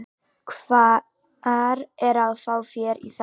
Hvar á að fá fé í þær?